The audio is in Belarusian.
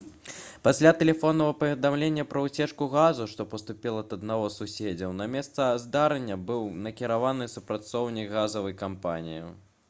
пасля тэлефоннага паведамлення пра ўцечку газу што паступіла ад аднаго з суседзяў на месца здарэння быў накіраваны супрацоўнік газавай кампаніі